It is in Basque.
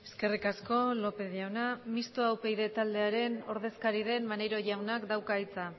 eskerrik asko lópez jauna mistoa upyd taldearen ordezkari den maneiro jaunak dauka hitza